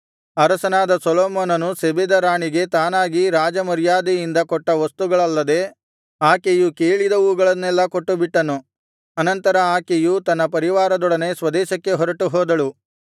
ಅರಸನಾದ ಸೊಲೊಮೋನನು ಶೆಬೆದ ರಾಣಿಗೆ ತಾನಾಗಿ ರಾಜಮರ್ಯಾದೆಯಿಂದ ಕೊಟ್ಟ ವಸ್ತುಗಳಲ್ಲದೆ ಆಕೆಯು ಕೇಳಿದವುಗಳೆಲ್ಲವನ್ನು ಕೊಟ್ಟುಬಿಟ್ಟನು ಅನಂತರ ಆಕೆಯು ತನ್ನ ಪರಿವಾರದೊಡನೆ ಸ್ವದೇಶಕ್ಕೆ ಹೊರಟುಹೋದಳು